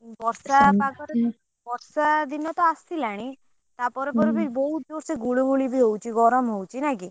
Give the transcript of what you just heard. ବର୍ଷା ପାଗ ରେ ବର୍ଷା ଦିନ ତ ଆସିଲାଣି ତା ପରେ ପରେ ବି ବହୁତ ଜୋରସେ ବି ଗୁଳୁ ଗୁଳି ବି ହଉଛି ଗରମ ହଉଛି ନା କି।